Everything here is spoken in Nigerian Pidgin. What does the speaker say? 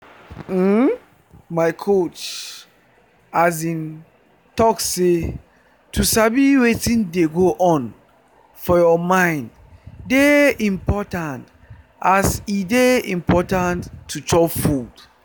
uhm my coach talk say to sabi wetin dey go on for your mind dey important as e dey important to chop food.